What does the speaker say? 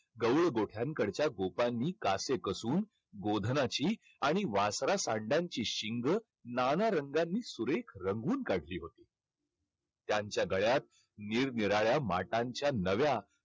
गवळी गोठ्यांकडच्या कासे कसून गोधनाची आणि वासरा शिंगं नाना रंगांनी सुरेख रंगून काढली होती. त्यांच्या गळ्यात निरनिराळ्या माठांच्या नव्या